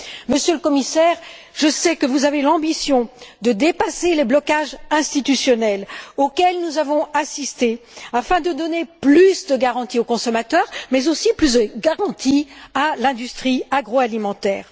Monsieur le Commissaire, je sais que vous avez l'ambition de dépasser les blocages institutionnels auxquels nous avons assisté afin de donner plus de garanties aux consommateurs mais aussi à l'industrie agroalimentaire.